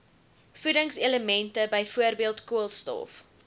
voedingselemente byvoorbeeld koolstof